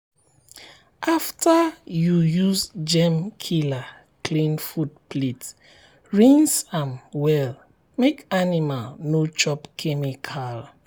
after you use germ killer clean food plate rinse am well make animal no chop chemical.